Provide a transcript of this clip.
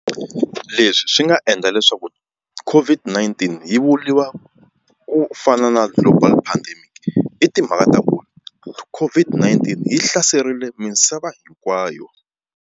Leswi swi nga endla leswaku COVID-19 yi vuriwa ku fana na global pandemic i timhaka ta vona COVID-19 yi hlaserile misava hinkwayo.